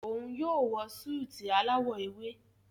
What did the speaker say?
Òún yóò wọ Súìtì alawọ ewe.